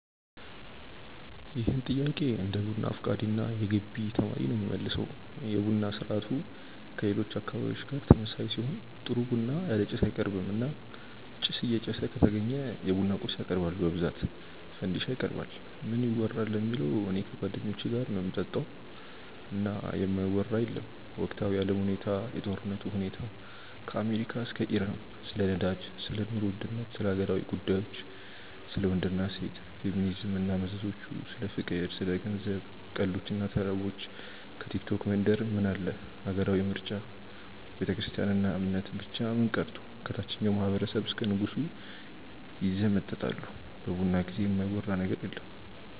ይህን ጥያቄ እንደ ቡና አፍቃሪ እና የገቢ ተማሪ ነው የምመልሰው። የቡና ስርአቱ ከሌሎች አካባቢዎች ጋር ተመሳሳይ ሲሆን ጥሩ ቡና ያለ ጭስ አይቀርብም እና ጭስ እየጨሰ ከተገኘ የቡና ቁርስ ያቀርባሉ በብዛት ፈንዲሻ ይቀርባል። ምን ይወራል ለሚለው እኔ ከጓደኞቼ ጋር ነው ምጠጣው እና የማይወራ የለም ወቅታዊ የአለም ሁኔታ፣ የጦርነቱ ሁኔታ ከአሜሪካ እስከ ኢራን፣ ስለ ነዳጅ፣ ስለ ኑሮ ውድነት፣ ስለ ሀገራዊ ጉዳዮች፣ ስለ ወንድ እና ሴት፣ ፌሚኒዝም እና መዘዞቹ፣ ስለ ፍቅር፣ ስለ ገንዘብ፣ ቀልዶች እና ተረቦች፣ ከቲክቶክ መንደር ምን አለ፣ ሀገራዊ ምርጫ፣ ቤተክርስትያን እና እምነት፣ ብቻ ምን ቀርቶ ከታቸኛው ማህበረሰብ እስከ ንጉሱ ይዘመጠጣሉ በቡና ጊዜ የማይወራ ነገር የለም።